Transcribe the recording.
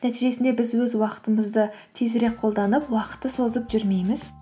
нәтижесінде біз өз уақытымызды тезірек қолданып уақытты созып жүрмейміз